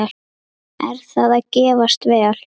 Er það að gefast vel?